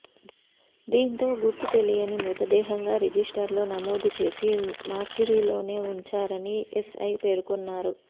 దీంతో గుర్తుతెలియని మృతదేహంగా రిజిస్టర్లో నమోదు చేసి మార్చురీలోనే ఉంచారని ఎస్ఐ పేర్కొన్నారు